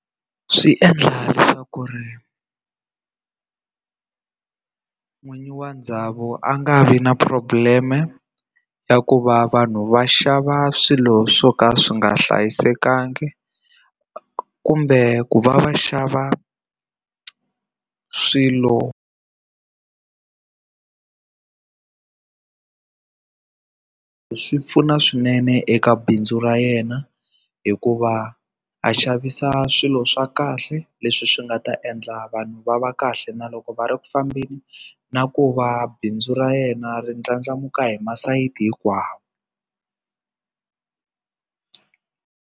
Swi endla leswaku ri n'winyi wa ndhawu a nga vi na problem-e ya ku va vanhu va xava swilo swo ka swi nga hlayisekanga kumbe ku va va xava swilo swi pfuna swinene eka bindzu ra yena hikuva a xavisa swilo swa kahle leswi swi nga ta endla vanhu va va kahle na loko va ri ku fambeni na ku va bindzu ra yena ri ndlandlamuka hi masayiti hinkwawo.